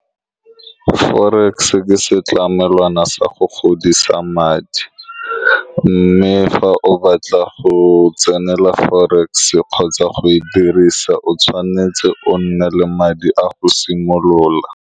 Forex ke setlamelwana sa go godisa madi, mme fa o batla go tsenela forex kgotsa go e dirisa, o tshwanetse o nne le madi a go simolola.